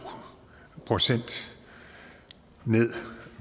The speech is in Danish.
procent ned